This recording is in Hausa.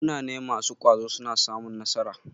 Munane masu ƙwazo suna samun nasara.